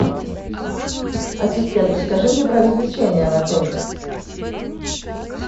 ассистент расскажи мне про развлечения в отеле